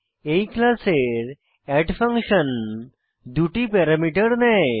এই ক্লাসের add function দুটি প্যারামিটার নেয়